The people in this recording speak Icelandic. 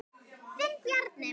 Þinn Bjarni.